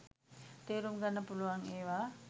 තේරුම්ගන්න පුළුවන් ඒවා.